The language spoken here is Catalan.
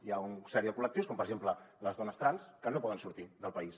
hi ha un sèrie de col·lectius com per exemple les dones trans que no poden sortir del país